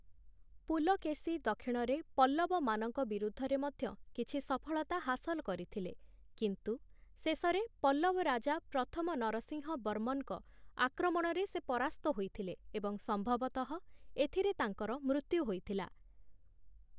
ପୁଲକେଶୀ ଦକ୍ଷିଣରେ ପଲ୍ଲବମାନଙ୍କ ବିରୁଦ୍ଧରେ ମଧ୍ୟ କିଛି ସଫଳତା ହାସଲ କରିଥିଲେ, କିନ୍ତୁ ଶେଷରେ ପଲ୍ଲବ ରାଜା ପ୍ରଥମ ନରସିଂହ ବର୍ମନଙ୍କ ଆକ୍ରମଣରେ ସେ ପରାସ୍ତ ହୋଇଥିଲେ ଏବଂ ସମ୍ଭବତଃ ଏଥିରେ ତାଙ୍କର ମୃତ୍ୟୁ ହୋଇଥିଲା ।